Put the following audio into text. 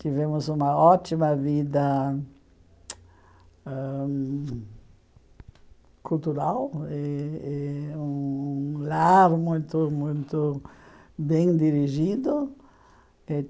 Tivemos uma ótima vida ãhum cultural e e um lar muito, muito bem dirigido.